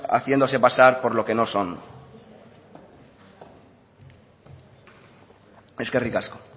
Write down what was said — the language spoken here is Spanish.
haciéndose pasar por lo que no son eskerrik asko